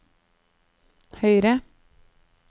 høyre